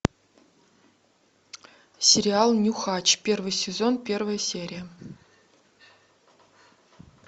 сериал нюхач первый сезон первая серия